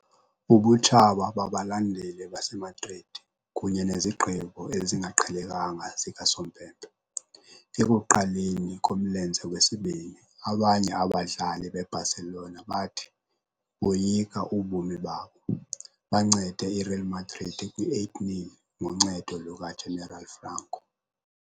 Ubutshaba babalandeli baseMadrid kunye nezigqibo ezingaqhelekanga zikasompempe ekuqaleni komlenze wesibini, abanye abadlali beBarcelona bathi "boyika ubomi babo". Bancede iReal Madrid kwi-8-0 ngoncedo lukaGeneral Franco.